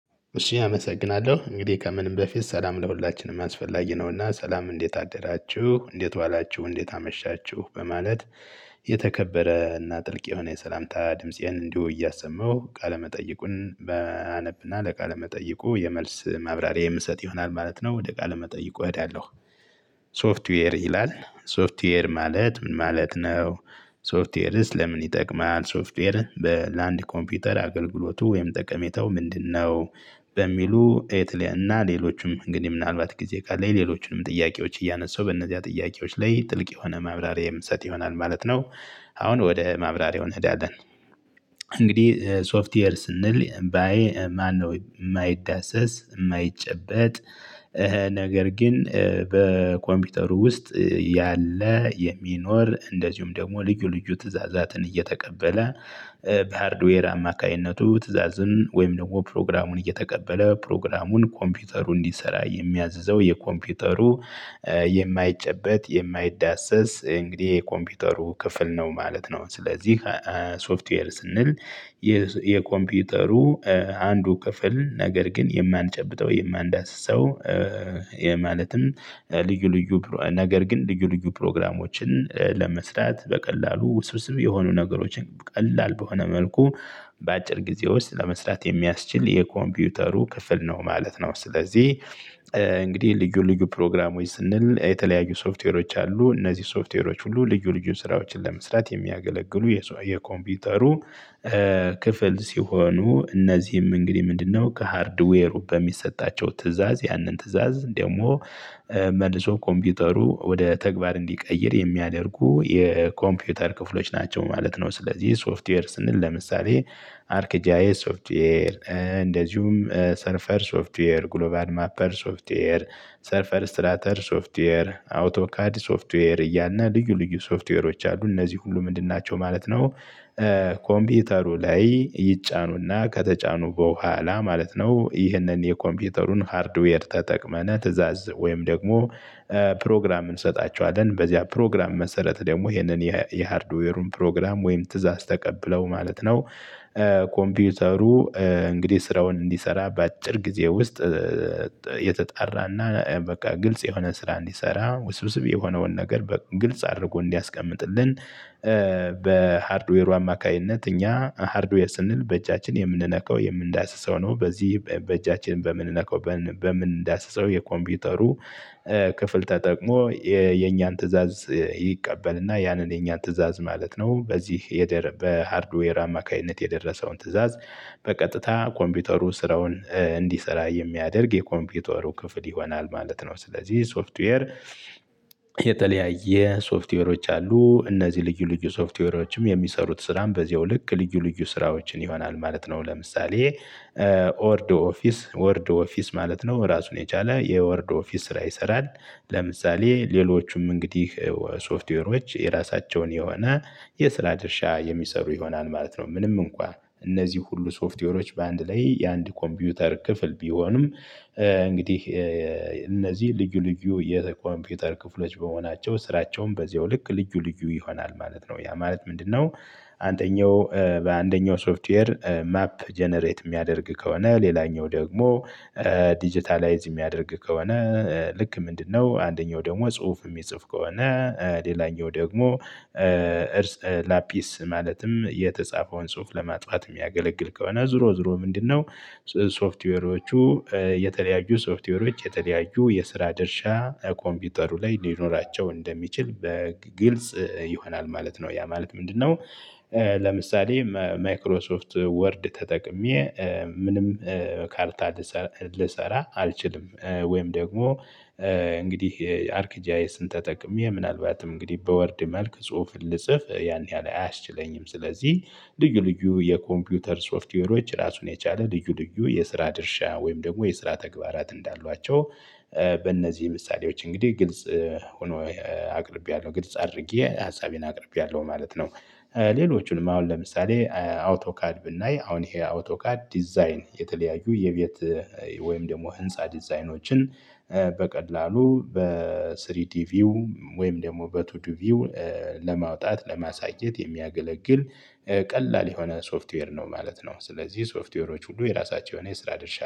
እሺ አመሰግናለሁ እንግዲህ ከምንም በፊት ሰላም ለሁላችንም አስፈላጊ ነውና ሰላም እንዴት አደራችሁ እንዴት ዋላችሁ እንዴት አመሻችሁ በማለት። የተከበረ እና ጥልቅ የሆነ የሰላምታ ድምፄን እንዲሁ እያሰማሁ ቃለመጠይቁን። አነብና ለቃለመጠይቁ የመልስ ማብራሪያ የምሰጥ ይሆናል ማለት ነው ወደ ቃለመጠይቁ እሄዳለሁ። ሶፍትዌር ይላል ሶፍትዌር ማለት ምን ማለት ነው? ሶፍትዌርስ ለምን ይጠቅማል ሶፍትዌር? ለአንድ ኮምፒውተር አገልግሎቱ ወይም ጠቀሜታው ምንድነው? በሚሉ የተለያዩና ሌሎችም እንግዲህ ምናልባት ጊዜ ቃለኝ ለሌሎቹንም ጥያቄዎች እያነሳው በእነዚያ ጥያቄዎች ላይ ጥልቅ የሆነ ማብራሪያ የምሰጥ ይሆናል ማለት ነው። አሁን ወደ ማብራሪያው እንሄዳለን እንግዲህ ሶፍትዌር ስንል። ማነው የማይዳሰስ የማይጨበጥ። ነገር ግን በኮምፒውተሩ ውስጥ። ያለ የሚኖር እንደዚሁም ደግሞ ልዩ ልዩ ትእዛዛትን እየተቀበለ። በሃርድዌር አማካኝነቱ ትእዛዝን ወይም ደግሞ ፕሮግራሙን እየተቀበለ ፕሮግራሙን ኮምፒውተሩ እንዲሰራ የሚያዘው የኮምፒውተሩ የማይጨበጥ የማይዳሰስ እንግዲህ የኮምፒውተሩ ክፍል ነው ማለት ነው። ስለዚህ ሶፍትዌር ስንል። የኮምፒውተሩ አንዱ ክፍል ነገር ግን የማንጨብጠው የማንዳስሰው። ያ ማለትም። ልዩ ልዩ ነገር ግን ልዩ ልዩ ፕሮግራሞችን ለመስራት በቀላሉ ውስብስብ የሆኑ ነገሮችን ቀላል በሆነ መልኩ። በአጭር ጊዜ ውስጥ ለመስራት የሚያስችል የኮምፒውተሩ ክፍል ነው ማለት ነው ስለዚህ። እንግዲህ ልዩ ልዩ ፕሮግራሞች ስንል የተለያዩ ሶፍትዌሮች አሉ። እነዚህ ሶፍትዌሮች ሁሉ ልዩ ልዩ ስራዎችን ለመስራት የሚያገለግሉ የኮምፒውተሩ ክፍል ሲሆኑ። እነዚህም እንግዲህ ምንድነው? ከሃርድዌሩ በሚሰጣቸው ትእዛዝ ያንን ትእዛዝ ደግሞ መልሶ ኮምፒውተሩ ወደ ተግባር እንዲቀይር የሚያደርጉ የኮምፒውተር ክፍሎች ናቸው ማለት ነው። ስለዚህ ሶፍትዌር ስንል ለምሳሌ አርክ ጂአይ ሶፍትዌር እንደዚሁም ሰርፈር ሶፍትዌር ግሎባል ማፐር ሶፍትዌር ሰርፈር ስትራተር ሶፍትዌር አውቶካዲ ሶፍትዌር እያልነ ልዩ ልዩ ሶፍትዌሮች አሉ እነዚህ ሁሉ ምንድን ናቸው ማለት ነው። ኮምፒውተሩ ላይ ይጫኑና ከተጫኑ በኋላ ማለት ነው ይህንን የኮምፒውተሩን ሃርድዌር ተጠቅመን ትእዛዝ ወይም ደግሞ ፕሮግራም እንሰጣቸዋለን በዚያ ፕሮግራም መሰረት ደግሞ ይሄንን የሃርድዌሩን ፕሮግራም ወይም ትእዛዝ ተቀብለው ማለት ነው። ኮምፒውተሩ እንግዲህ ስራውን እንዲሰራ በአጭር ጊዜ ውስጥ። የተጣራና በቃ ግልጽ የሆነ ስራ እንዲሰራ ውስብስብ የሆነውን ነገር በግልጽ አድርጎ እንዲያስቀምጥልን። በሃርድዌሩ አማካኝነት እኛ ሃርድዌር ስንል በእጃችን የምንነካው የምንዳስሰው ነው። በዚህ በእጃችን በምንነካው በምንዳስሰው የኮምፒውተሩ ክፍል ተጠቅሞ የኛን ትእዛዝ ይቀበልና ያንን የኛን ትእዛዝ ማለት ነው በዚህ በሃርድዌር አማካኝነት የደረሰውን ትእዛዝ በቀጥታ ኮምፒውተሩ ስራውን እንዲሰራ የሚያደርግ የኮምፒውተሩ ክፍል ይሆናል ማለት ነው። ስለዚህ ሶፍትዌር የተለያየ ሶፍትዌሮች አሉ። እነዚህ ልዩ ልዩ ሶፍትዌሮችም የሚሰሩት ስራም በዚሁ ልክ ልዩ ልዩ ስራዎችን ይሆናል ማለት ነው። ለምሳሌ ወርድ ኦፊስ ወርድ ኦፊስ ማለት ነው ራሱን የቻለ የወርድ ኦፊስ ስራ ይሰራል። ለምሳሌ ሌሎቹም እንግዲህ ሶፍትዌሮች የራሳቸውን የሆነ የስራ ድርሻ የሚሰሩ ይሆናል ማለት ነው። ምንም እንኳን እነዚህ ሁሉ ሶፍትዌሮች በአንድ ላይ የአንድ ኮምፒውተር ክፍል ቢሆንም እንግዲህ። እነዚህ ልዩ ልዩ የኮምፒውተር ክፍሎች በመሆናቸው ስራቸውም በዚሁ ልክ ልዩ ልዩ ይሆናል ማለት ነው። ያ ማለት ምንድነው? አንደኛው በአንደኛው ሶፍትዌር ማፕ ጀነሬት የሚያደርግ ከሆነ ሌላኛው ደግሞ ዲጂታላይዝ የሚያደርግ ከሆነ። ልክ ምንድነው አንደኛው ደግሞ ጽሁፍ የሚጽፍ ከሆነ። ሌላኛው ደግሞ እርስ ላፒስ ማለትም የተጻፈውን ጽሁፍ ለማጥፋት የሚያገለግል ከሆነ ዞሮ ዞሮ ምንድነው? ሶፍትዌሮቹ የተለያዩ ሶፍትዌሮች የተለያዩ የስራ ድርሻ ኮምፒውተሩ ላይ ሊኖራቸው እንደሚችል ግልጽ ይሆናል ማለት ነው። ያ ማለት ምንድነው? ለምሳሌ ማይክሮሶፍት ወርድ ተጠቅሜ ምንም ካርታ ልሰራ አልችልም። ወይም ደግሞ እንግዲህ አርክጂያስን ተጠቅሜ ምናልባትም እንግዲህ በወርድ መልክ ጽሁፍ ልጽፍ ያን ያህል አያስችለኝም። ስለዚህ ልዩ ልዩ የኮምፒውተር ሶፍትዌሮች ራሱን የቻለ ልዩ ልዩ የስራ ድርሻ ወይም ደግሞ የስራ ተግባራት እንዳሏቸው በእነዚህ ምሳሌዎች እንግዲህ ግልጽ ሆኖ አቅርቤያለሁ ግልጽ አድርጌ ሀሳቤን አቅርቤያለሁ ማለት ነው። ሌሎቹንም አሁን ለምሳሌ አውቶካድ ብናይ አሁን ይሄ አውቶካድ ዲዛይን የተለያዩ የቤት ወይም ደግሞ ህንፃ ዲዛይኖችን በቀላሉ በስሪዲ ቪው ወይም ደግሞ በቱዲ ቪው ለማውጣት ለማሳየት የሚያገለግል ቀላል የሆነ ሶፍትዌር ነው ማለት ነው። ስለዚህ ሶፍትዌሮች ሁሉ የራሳቸው የሆነ የስራ ድርሻ